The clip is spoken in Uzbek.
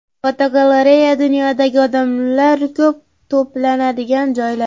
Fotogalereya: Dunyodagi odamlar ko‘p to‘planadigan joylar.